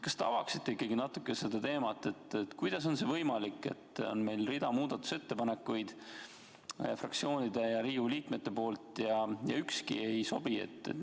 Kas te avaksite natuke seda teemat, kuidas on võimalik, et meil on rida muudatusettepanekuid fraktsioonide ja Riigikogu liikmete poolt ja ükski ei sobi?